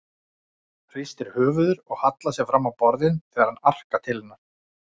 Hristir höfuðið og hallar sér fram á borðið þegar hann arkar til hennar.